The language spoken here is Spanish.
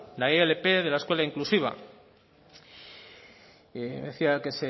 la ilp de la escuela inclusiva decía que